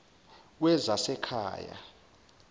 wezasekhaya